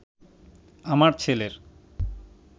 আমার ছেলের